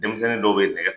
Denmisɛnnin dɔw bɛ nɛgɛ